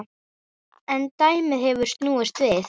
En dæmið hefur snúist við.